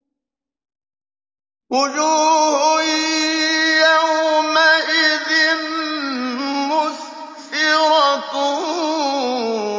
وُجُوهٌ يَوْمَئِذٍ مُّسْفِرَةٌ